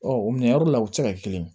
Ɔ o minɛyɔrɔ la u tɛ se ka kelen ye